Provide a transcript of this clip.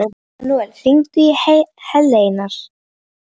Manuel, hringdu í Hleinar.